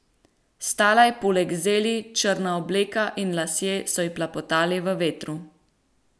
Stala je poleg zeli, črna obleka in lasje so ji plapolali v vetru.